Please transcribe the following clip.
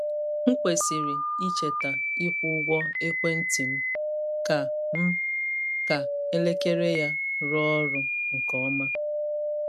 M kwesịrị icheta ịkwụ ụgwọ ekwentị m ka m ka elekere ya rụọ ọrụ nke ọma.